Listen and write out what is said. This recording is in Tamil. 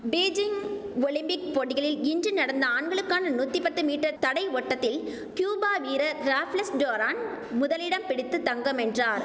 பீஜிங் ஒலிம்பிக் போட்டிகளில் இன்று நடந்த ஆண்களுக்கான நூத்தி பத்து மீட்டர் தடை ஓட்டத்தில் கியூபா வீரர் ராப்லெஸ் டோரான் முதலிடம் பிடித்து தங்கம் வென்றார்